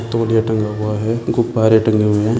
तौलिया टंगा हुआ है गुब्बारे टंगे हुए है।